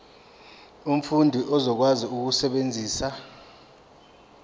umfundi uzokwazi ukusebenzisa